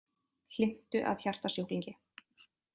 Hlynntu að hjartasjúklingi